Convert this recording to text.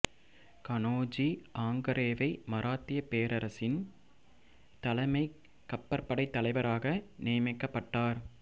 கனோஜி ஆங்கரேவை மராத்தியப் பேரரசின் தலைமைக் கப்பற்படைத் தலைவராக நியமிக்கப்பட்டார்